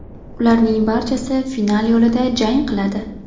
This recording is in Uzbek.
Ularning barchasi final yo‘lida jang qiladi.